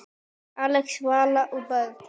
Axel, Vala og börn.